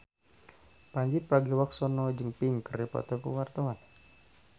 Pandji Pragiwaksono jeung Pink keur dipoto ku wartawan